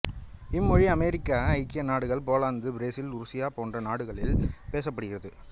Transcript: இம்மொழி America ஐக்கிய நாடுகள் Poland Brazil உருசியா போன்ற நாடுகளில் பேசப்படுகிறது